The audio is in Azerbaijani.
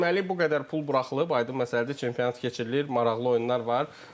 Deməli, bu qədər pul buraxılıb, aydın məsələdir, çempionat keçirilir, maraqlı oyunlar var.